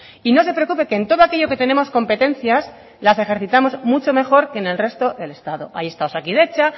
y no se preocupe que en todo aquello que tenemos competencias las ejercitamos mucho mejor que en el resto del estado ahí está osakidetza